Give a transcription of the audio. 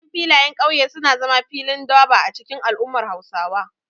Manyan filayen kauye suna zama filin durbar a cikin al'ummar Hausawa.